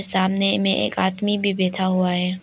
सामने में एक आदमी भी बैठा हुआ है।